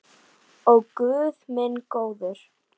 Ó guð minn góður.